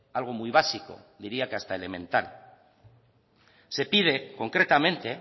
algo muy básico diría que hasta elemental se pide concretamente